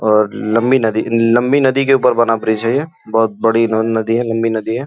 और लम्बी नदी लम्बी नदी के ऊपर बना ब्रिज है ये बहोत बड़ी नदी है लम्बी नदी है।